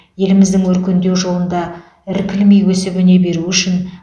еліміздің өркендеу жолында іркілмей өсіп өне беруі үшін